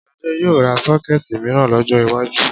Ṣadé yóò ra Ṣọ́kẹ́ẹ̀tì mìíràn lọ́jọ́ iwájú